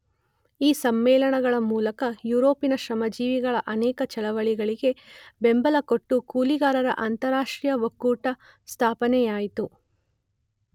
ಈ ಸಮ್ಮೇಳನಗಳ ಮೂಲಕ ಯುರೋಪಿನ ಶ್ರಮಜೀವಿಗಳ ಅನೇಕ ಚಳವಳಿಗಳಿಗೆ ಬೆಂಬಲಕೊಟ್ಟು ಕೂಲಿಗಾರರ ಅಂತಾರಾಷ್ಟ್ರೀಯ ಒಕ್ಕೂಟ ಸ್ಥಾಪನೆಯಾಯಿತು.